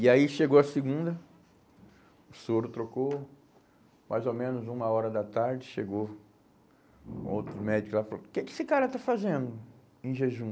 E aí chegou a segunda, o soro trocou, mais ou menos uma hora da tarde, chegou um outro médico lá e falou, o que que esse cara está fazendo em jejum?